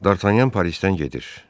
Dartanyan Parisdən gedir.